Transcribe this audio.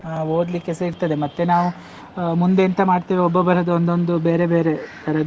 ಹಾ ಓದ್ಲಿಕ್ಕೆಸ ಇರ್ತದೆ, ಮತ್ತೆ ನಾವು ಮುಂದೆ ಎಂತ ಮಾಡ್ತೇವೆ, ಒಬ್ಬೊಬ್ಬರದ್ದು ಒಂದೊಂದು ಬೇರೆ ಬೇರೆ ತರದ್ದು.